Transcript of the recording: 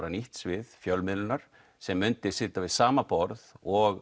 nýtt svið fjölmiðlunar sem myndi sitja við sama borð og